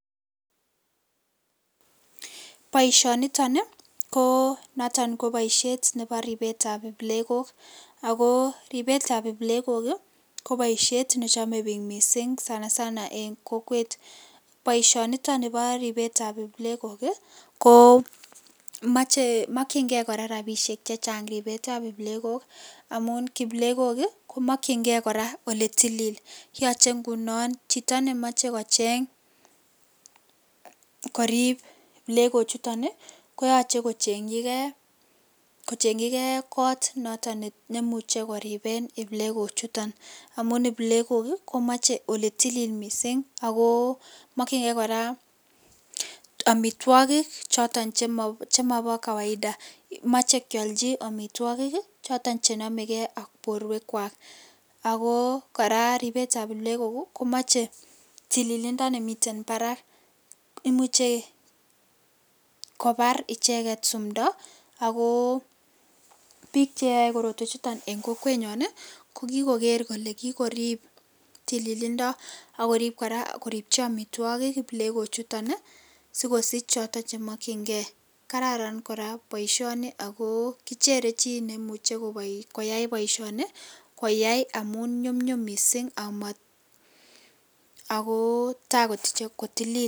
Boisioniton ko noton koboishet nebo ribetab iplekok, ako ribetab iplekok ii koboishet nechome bik missing' sana sana en kokwet, boishoniton nibo ribetab iplekok ii koo mokchingee koraa rabishek chechang robetab iplekok, amun kiplekok ii komokchingee oletilili cheingunon chito nemoche kocheng korib iplekochuton koyoche kochengchigee kot noton nemuche koribe iplekochuton, amun iplekok ii komoche oletilil missing' ako mokchingee koraa omitwokik choton chemobo kawaida moxhe kiplchi omitwogik choton chenomegee ak boruekwak , ako koraa ribetab iplekok komoche tililindo nemiten barak, imuche kobar icheket simdo ako bik cheyoe korotwechuton en kokwenyon ii kokikoker kole kikorib tililindo ak korib koraa koribchi omitwogik iplekochuton ii sikosich choton chemokyingee kararan koraa boisioni ako kichere chi nemuchekoyai boisioni koyai amun nyumnyum missing' akotaa kotilil.